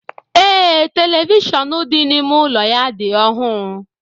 Ee, televishọọnu dị n'ime ụlọ ya dị ọhụụ.